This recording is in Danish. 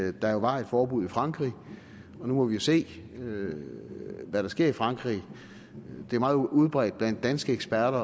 at der jo var et forbud i frankrig og nu må vi se hvad der sker i frankrig det er meget udbredt blandt danske eksperter